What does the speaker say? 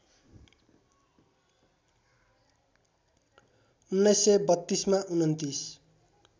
१९३२ मा २९